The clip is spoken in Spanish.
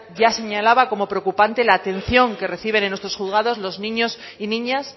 ya señalaba como preocupante la atención que reciben en nuestros juzgados los niños y niñas